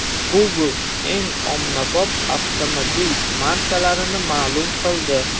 Google eng ommabop avtomobil markalarini ma’lum qildi.